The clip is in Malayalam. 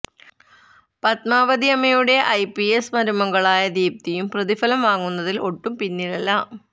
പത്മാവതിയമ്മയുടെ ഐ പി എസ് മരുമകളായ ദീപ്തിയും പ്രതിഫലം വാങ്ങുന്നതില് ഒട്ടും പിന്നിലല്ല